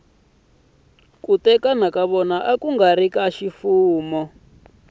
ku nga ri ka ximfumo